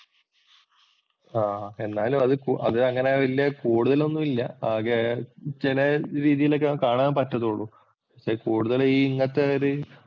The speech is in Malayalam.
ആഹ് എന്നാലും അത് അതങ്ങനെ വല്യ കൂടുതല്‍ ഒന്നും ഇല്ല. ആകെ ചെലരീതിയിലൊക്കെ കാണാന്‍ പറ്റത്തൊള്ളൂ. ഈ കൂടുതല്‍ ഇങ്ങത്തെ ഒരു